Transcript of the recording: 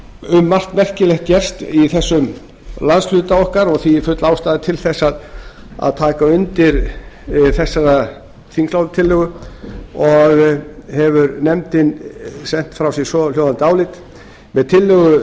um margt merkilegt gerst í þessum landshluta okkar og því er full ástæða til þess að taka undir þessa þingsályktunartillögu og hefur nefndin sent frá sér svohljóðandi álit með tillögu